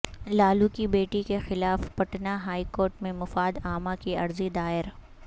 لالو کی بیٹی کے خلاف پٹنہ ہائی کورٹ میں مفاد عامہ کی عرضی دائر